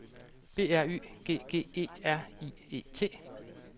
B R Y G G E R I E T